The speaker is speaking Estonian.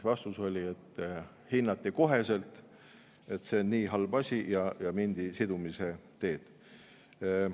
Vastus oli, et hinnati koheselt, et see on nii halb asi, ja mindi sidumise teed.